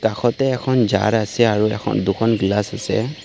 কাষতে এখন জাৰ আছে আৰু এখন দুখন গ্লাচ আছে।